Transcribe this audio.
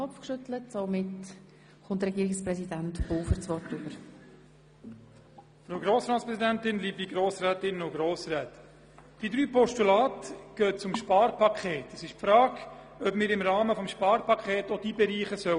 Es stellt sich die Frage, ob wir diese Bereiche nun auch im Rahmen des Sparpakets anschauen sollen.